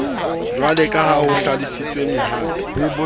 jwaleka ha ho hlalosetswe mohato